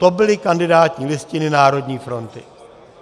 To byly kandidátní listiny Národní fronty.